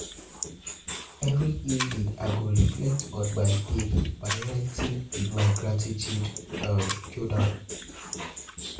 Every evening, I go reflect on my day by writing in my gratitude journal.